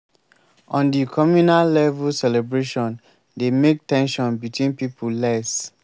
on di communal level celebration dey make ten sion between pipo less